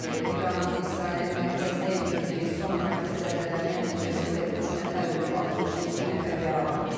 İranın İsrailin mərkəzinə endirdiyi son raket zərbələri nəticəsində üç nəfər ölüb, 67 nəfər yaralanıb.